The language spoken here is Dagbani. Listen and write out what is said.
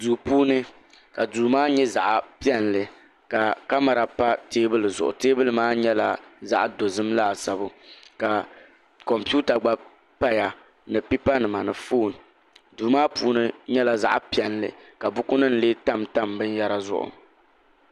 duu puuni ka duu maa nyɛ zaɣ piɛlli ka kamɛra pa teebuli zuɣu teebuli maa nyɛla zaɣ dozim laasabu ka kompiuta gba paya ni pipa nima ni foon duu maa puuni nyɛla zaɣ piɛlli ka buku nim lee tamtam binyɛra zuɣu